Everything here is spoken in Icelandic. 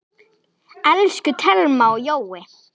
Elsku Thelma og Jói.